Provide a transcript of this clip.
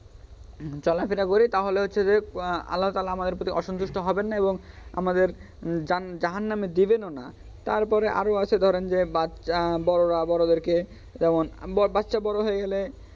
চলাফেরা করি তাহলে হচ্ছে যে আল্লাহ্‌ তালহা আমাদের প্রতি অসন্তুষ্ট হবেননা এবং আমাদের জাহান্নামে দেবেনও না তারপরে আরও আছে ধরেন যে বাচ্চা বড়োরা বড়োদেরকে যেমন বাচ্চা বড়ো হয়ে গেলে,